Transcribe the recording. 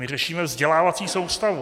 My řešíme vzdělávací soustavu.